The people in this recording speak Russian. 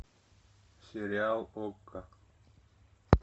сериал окко